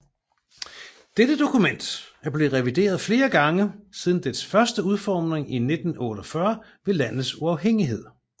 Dette dokument er blevet revideret flere gange siden dets første udformning i 1948 ved landets uafhængighed